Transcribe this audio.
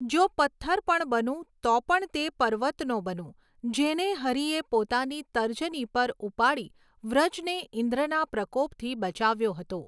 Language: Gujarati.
જો પત્થર પણ બનું તો પણ તે પર્વતનો બનું જેને હરિએ પોતાની તર્જની પર ઉપાડી વ્રજને ઇન્દ્રના પ્રકોપથી બચાવ્યો હતો.